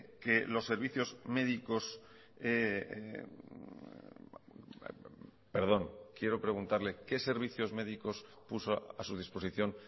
que los servicios médicos perdón quiero preguntarle qué servicios médicos puso a su disposición